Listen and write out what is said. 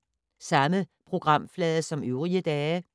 Samme programflade som øvrige dage